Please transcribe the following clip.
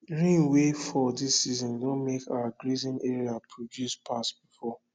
rain wey fall this season don make our grazing area produce pass before